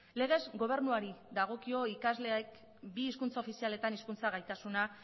legez gobernuari dagokio ikasleek bi hizkuntza ofizialetan hizkuntza gaitasuna